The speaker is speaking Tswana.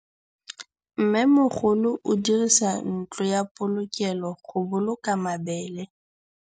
Mmêmogolô o dirisa ntlo ya polokêlô, go boloka mabele.